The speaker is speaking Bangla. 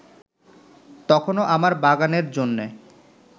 তখনো আমার বাগানের জন্যে